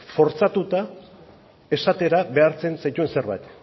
fortzatuta esatera behartzen zaituen zerbait